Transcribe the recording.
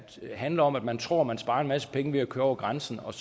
handler om at man tror man sparer en masse penge ved at køre over grænsen og